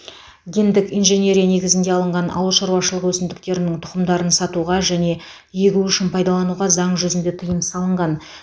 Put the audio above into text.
гендік инженерия негізінде алынған ауыл шаруашылығы өсімдіктерінің тұқымдарын сатуға және егу үшін пайдалануға заң жүзінде тыйым салынған